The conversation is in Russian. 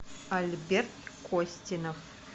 альберт костинов